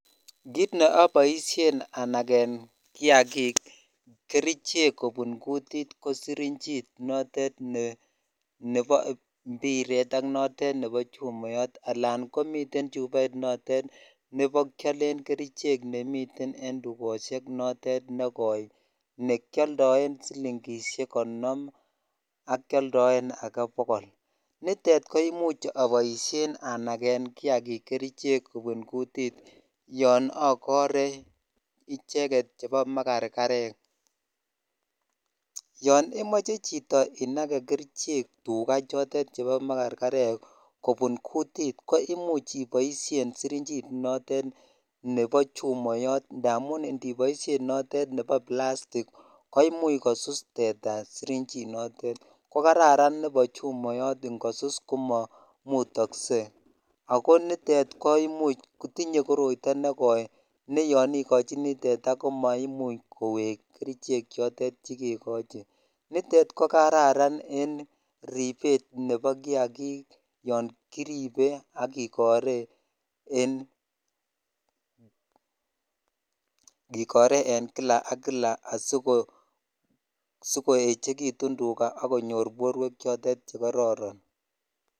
Kiit neoboishen anaken kiakik kerichek kobun kutit ko sirinjit notet nebo mbiret ak notet nebo chumoyot alaan komiten chuboit notet nebo kiolen kerichek nemiten en tukoshek notet nekoi nekioldoen silingishek konom ak kioldoen akee bokol, nitet ko imuch aboishen anaken kiakik kerichek kobun kutit yoon okore icheket chebo makarkarek, yoon imoche chito inake chito kerichek chotet chebo makarkarek kobun kutit ko imuch iboishen sirinjit notet nebo chumoyot ndamun ndiboishen notet nebo plastik koimuch kosusu teta sirinjinotet, ko kararan nebo chumoyot ng'osus komomutokse akoo nitet kotinye koroito nekoi ne yoon ikochini teta komaimuch koweek kerichek chotet chekekochi, nitet ko kararan en ribet nebo kiakik yoon kiribe ak kikoren en kila ak kila asikoechekitun tukaa ak konyor borwek chotet chekororon.